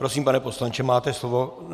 Prosím, pane poslanče, máte slovo.